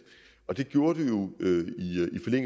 og det gjorde det jo